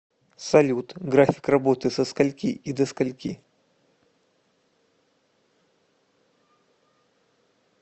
салют график работы со скольки и до с кольки